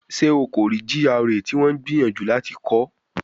Ṣe o ko rii GRA ti wọn n gbiyanju lati kọ?